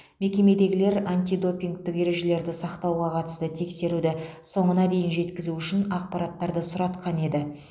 мекемедегілер антидопингтік ережелерді сақтауға қатысты тексеруді соңына дейін жеткізу үшін ақпараттарды сұратқан еді